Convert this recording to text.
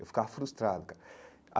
Eu ficava frustrado cara.